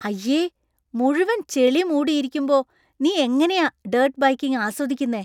അയ്യേ. മുഴുവൻ ചെളി മൂടിയിരിക്കുമ്പോ നീ എങ്ങനെയാ ഡർട്ട് ബൈക്കിംഗ് ആസ്വദിക്കുന്നെ?